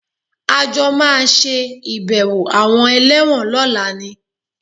A jọ máa ṣe ìbẹ̀wò àwọn ẹlẹ́wọ̀n lọ́la ni